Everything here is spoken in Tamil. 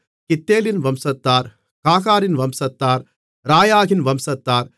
கித்தேலின் வம்சத்தார் காகாரின் வம்சத்தார் ராயாகின் வம்சத்தார்